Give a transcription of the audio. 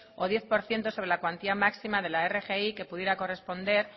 o diez por ciento sobre la cuantía máxima de la rgi que pudiera corresponder